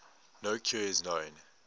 no cure is known